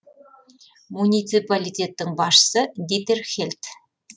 муниципалитеттің басшысы дитер хельт